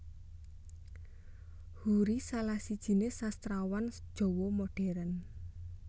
Hoery salah sijiné Sastrawan Jawa Modern